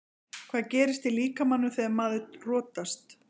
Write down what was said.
Hvað gerist í líkamanum þegar maður rotast?